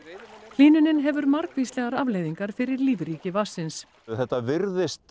hlýnunin hefur margvíslegar afleiðingar fyrir lífríki vatnsins þetta virðist